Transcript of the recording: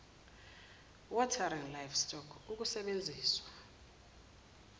watering livestock ukusebenziswa